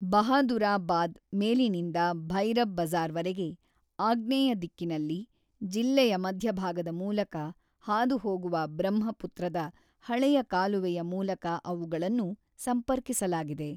ಬಹಾದುರಾಬಾದ್ ಮೇಲಿನಿಂದ ಭೈರಬ್ ಬಜಾ಼ರ್‌ವರೆಗೆ ಆಗ್ನೇಯ ದಿಕ್ಕಿನಲ್ಲಿ ಜಿಲ್ಲೆಯ ಮಧ್ಯಭಾಗದ ಮೂಲಕ ಹಾದುಹೋಗುವ ಬ್ರಹ್ಮಪುತ್ರದ ಹಳೆಯ ಕಾಲುವೆಯ ಮೂಲಕ ಅವುಗಳನ್ನು ಸಂಪರ್ಕಿಸಲಾಗಿದೆ.